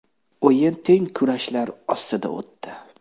O‘yin teng kurashlar ostida o‘tdi.